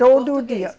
Todo dia